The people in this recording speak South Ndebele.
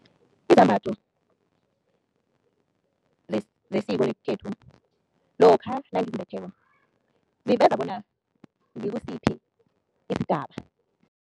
Izambatho zesiko lesikhethu lokha nangizimbetheko, ziveza bona ngikusiphi isigaba.